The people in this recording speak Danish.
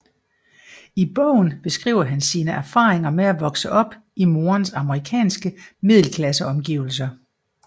I bogen beskriver han sine erfaringer med at vokse op i morens amerikanske middelklasseomgivelser